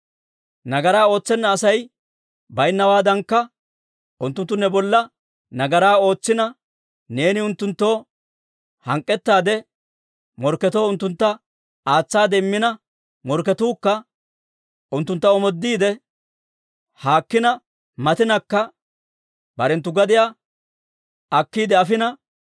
«Nagaraa ootsenna Asay baynnawaadankka, unttunttu ne bolla nagaraa ootsina, neeni unttunttoo hank'k'ettaade morkketoo unttuntta aatsaade immina morkketuukka unttuntta omoodiide, haakkina matinakka barenttu gadiyaa akkiide afina,